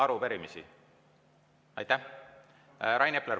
Rain Epler, palun!